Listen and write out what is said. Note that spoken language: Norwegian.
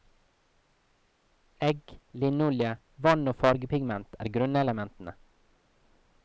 Egg, linolje, vann og farvepigment er grunnelementene.